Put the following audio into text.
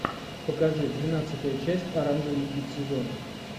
покажи двенадцатая часть оранжевый хит сезона